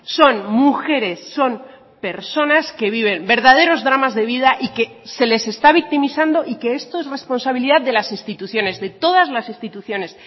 son mujeres son personas que viven verdaderos dramas de vida y que se les está victimizando y que esto es responsabilidad de las instituciones de todas las instituciones